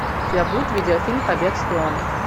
у тебя будет видеофильм побег с фионой